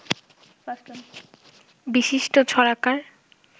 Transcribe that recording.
বিশিষ্ট ছড়াকার